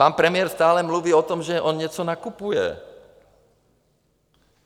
Pan premiér stále mluví o tom, že on něco nakupuje.